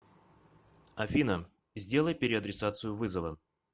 афина сделай переадресацию вызова